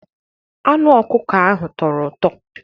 Anụ ọkụkọ ahụ tọrọ ụtọ.